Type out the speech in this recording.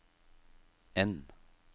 N